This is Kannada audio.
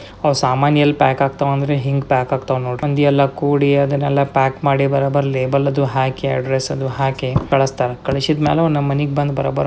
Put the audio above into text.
ಅ ಸಾಮಾನ್ ಎಲ್ ಪ್ಯಾಕ್ಕಾಕ್ತ ಅಂದ್ರೆ ಹಿಂಗ್ ಪ್ಯಾಕ್ಕಾಕ್ತನೆ ಅಂದಿಯಲ್ಲ ಕೂಡಿ ಅದನ್ನೆಲ್ಲಾ ಪ್ಯಾಕ್ ಮಾಡಿ ಬರಾಬರ್ ಲೇಬಲ್ ಅದು ಹಾಕಿ ಅಡ್ರೆಸ್ ಅದು ಹಾಕಿ ಕಲಸ್ತಾರೆ ಕಲ್ಸಿದ್ಮೇಲೆ ನಮ್ ಮನಿಗ್ ಬಂದ್ ಬರೋಬರ್--